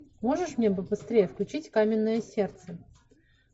можешь мне побыстрее включить каменное сердце